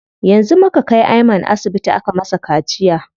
Yanzu muka kai Ayman asibiti aka masa kaciya.